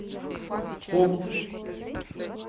хоп